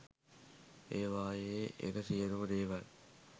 ඒවායේ එන සියළුම දේවල්